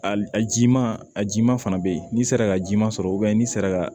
Ali a jiman a jiman fana bɛ yen n'i sera ka ji ma sɔrɔ n'i sera ka